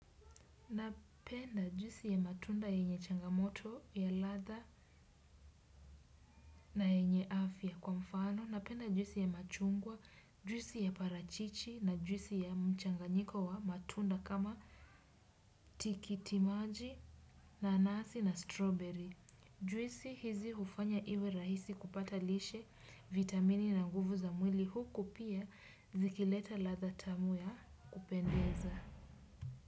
Napenda juisi ya matunda yenye changamoto ya ladha na yenye afya kwa mfano. Napenda juisi ya machungwa, juisi ya parachichi na juisi ya mchanganyiko wa matunda kama tikitimaji nanasi na strawberry. Juisi hizi hufanya iwe rahisi kupata lishe vitamini na nguvu za mwili huku pia zikileta ladha tamu ya kupendeza.